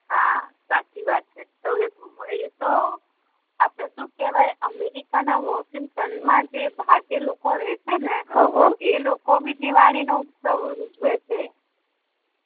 હા સાચી વાત છે એ તો આપડે શું કેહવાય અમેરિકા ના વોસીગ્ટન મા જે ભારતીય લોકો રેહ છે ને એ લોકો બી દિવાળી નો ઉત્સવ ઉજવે છે